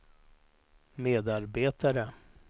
medarbetare